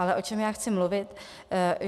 Ale o čem já chci mluvit?